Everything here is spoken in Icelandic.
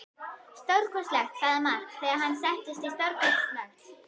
Stórkostlegt, sagði Mark þegar hann settist, stórkostlegt.